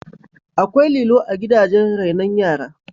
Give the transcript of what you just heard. Akwai lilo a gidajen rainon yara